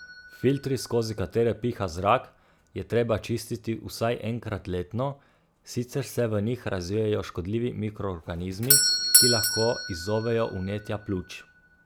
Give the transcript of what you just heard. Filtri, skozi katere piha zrak, je treba čistiti vsaj enkrat letno, sicer se v njih razvijejo škodljivi mikroorganizmi, ki lahko izzovejo vnetja pljuč.